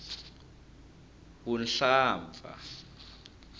vuhlampfa